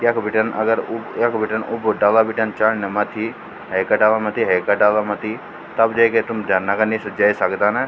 यख बिटिन अगर उब यख बटेंन उब डाला बिटिन चड़ना मथ्थी हेन्का डाला मथ्थी हेन्का डाला मथ्थी तब जेके तुम झरना का नीचु जे सकदा ना।